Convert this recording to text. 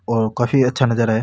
और काफी अच्छा नजारा है।